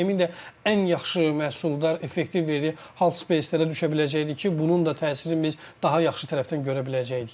Emin də ən yaxşı məhsuldar, effektiv verdiyi halfpacelərə düşə biləcəkdi ki, bunun da təsirini biz daha yaxşı tərəfdən görə biləcəkdik.